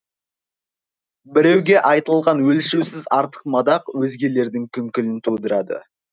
біреуге айтылған өлшеусіз артық мадақ өзгелердің күңкілін тудырады